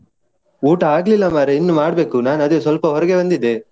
ಊಟ ಆಗ್ಲಿಲ್ಲ ಮಾರಾಯ, ಇನ್ನು ಮಾಡ್ಬೇಕು ನಾನು ಅದೇ ಸ್ವಲ್ಪ ಹೊರಗೆ ಬಂದಿದ್ದೆ.